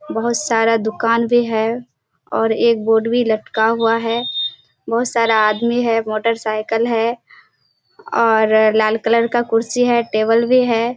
बहोत सारा दुकान भी है और एक बोर्ड भी लटका हुआ है। बहोत सारा आदमी है मोटरसाइकिल है और लाल कलर का कुर्सी है टेबल भी है।